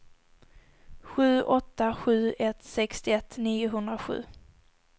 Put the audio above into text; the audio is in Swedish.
sju åtta sju ett sextioett niohundrasju